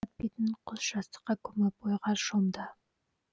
бетін құс жастыққа көміп ойға шомды